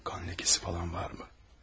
Qan ləkəsi falan varmı?